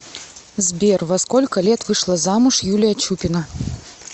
сбер во сколько лет вышла замуж юлия чупина